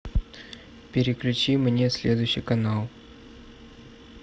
переключи мне следующий канал